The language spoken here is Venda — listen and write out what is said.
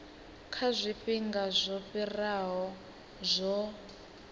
kha zwifhinga zwo fhiraho zwo